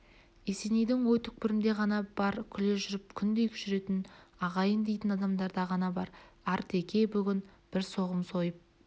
есенейдің ой түкпірінде ғана бар күле жүріп күндей жүретін ағайын дейтін адамдарда ғана бар артеке бүгін бір соғым сойып